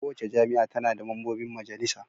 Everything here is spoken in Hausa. Kowace jami'a tana da mambobin majalisa.